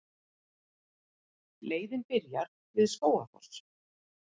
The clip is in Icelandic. Leiðin byrjar við Skógafoss.